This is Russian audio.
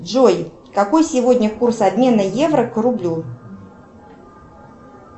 джой какой сегодня курс обмена евро к рублю